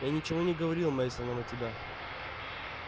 я ничего не говорил мейсонам о тебя